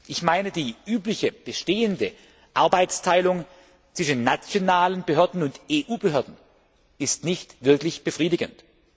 Ich meine, die übliche bestehende Arbeitsteilung zwischen nationalen Behörden und EU Behörden ist nicht wirklich befriedigend.